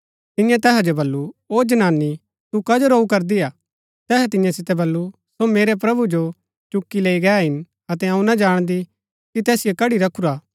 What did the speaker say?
तियें तैहा जो बल्लू ओ जनानी तू कजो रोऊ करदी हा तैहै तियां सितै बल्लू सो मेरै प्रभु जो चुक्की लैई गै हिन अतै अऊँ ना जाणदी कि तैसिओ कड्ड़ी रखूरा हा